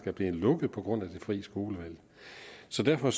er blevet lukket på grund af det fri skolevalg så derfor